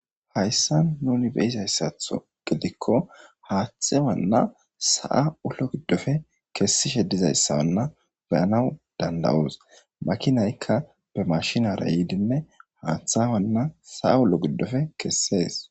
Hayssa nuni beizayssatho gidikko haaththe wanna sa'a ullo giddofe kessishe dizayssawanna beyanaw dandawoos makinaykka be mashinara yiidinne haaththa wanna saa ullo giddofe kessees